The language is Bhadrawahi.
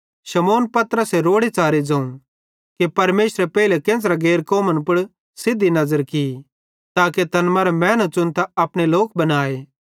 शमौन पतरसे रोड़ेच़ारे ज़ोवं कि परमेशरे पेइले केन्च़रे गैर कौमन पुड़ सिद्धी नज़र की ताके तैन मरां मैनू च़ुनतां अपने लोक बनाए